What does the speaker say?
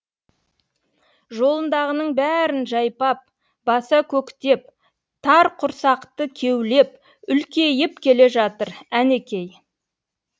жолындағының бәрін жайпап баса көктеп тар құрсақты кеулеп үлкейіп келе жатыр әнекей